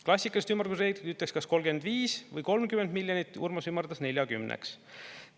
Klassikalised ümardusreeglid ütleksid, kas 35 või 30 miljonit, Urmas ümardas 40-ks.